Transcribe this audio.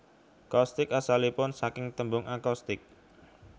Coustic asalipun saking tembung acoustic